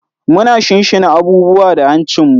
Muna shinshina abubuwa da hancinmu.